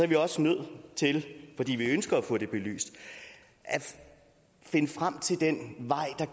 vi også nødt til fordi vi ønsker at få det belyst at finde frem til den vej der